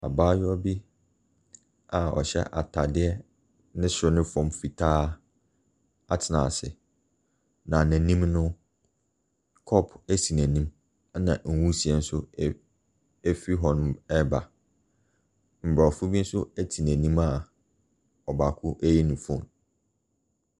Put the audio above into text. Abaayewa bi a ɔhyɛ atadeɛ ne soro no fam fitaa atena ase, na n'anim no, kɔpo si n'anim, ɛna nwisie nso ɛɛ ɛfiri hɔnom reba. Aborɔfo bi nso te n'anim a ɔbaako reyi ne phone.